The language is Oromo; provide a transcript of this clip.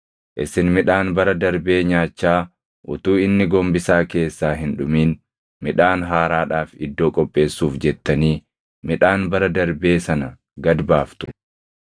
Isin midhaan bara darbee nyaachaa utuu inni gombisaa keessaa hin dhumin, midhaan haaraadhaaf iddoo qopheessuuf jettanii midhaan bara darbee sana gad baaftu.